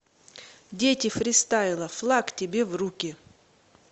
дети фристайла флаг тебе в руки